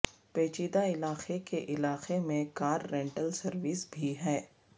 پیچیدہ علاقے کے علاقے میں کار رینٹل سروس بھی ہے